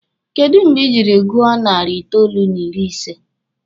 Kedụ mgbe ị jiri gụọ nari itoolu n'ịrị ise?